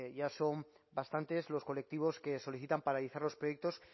ya son bastantes los colectivos que solicitan paralizar los proyectos